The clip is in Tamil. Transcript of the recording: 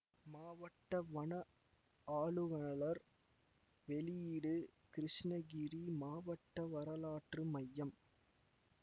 மாவட்ட வன ஆலுவலர் வெளியீடு கிருஷ்ணகிரி மாவட்ட வரலாற்று மையம்